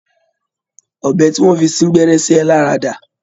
Ọ̀bẹ tí wọ́n fi sín gbẹ́rẹ́ sí ẹ lára dà?